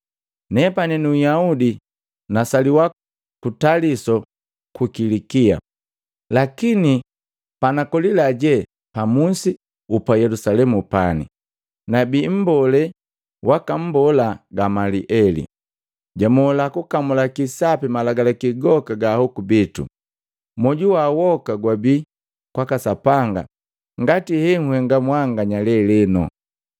“Nepani nu Nhyaudi, nasaliwa ku Taliso pa Kilikia. Lakini konakolila je pa musi guku Yelusalemu pani, nabii mbolee waka mbola Gamalieli. Jamola kukamulaki sapi malagalaki goka ga ahoku bitu. Moju wa woka gwabii kwaka Sapanga ngati hee nhenga mwanganya lelenu.